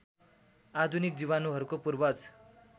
आधुनिक जीवाणुहरूको पूर्वज